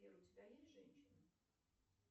сбер у тебя есть женщина